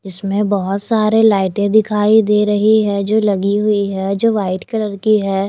इसमें बहोत सारे लाइटे दिखाई दे रही है जो लगी हुई है जो वाइट कलर की है।